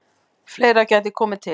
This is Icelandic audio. Fleira geti komið til.